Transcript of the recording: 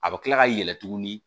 A bɛ kila ka yɛlɛn tuguni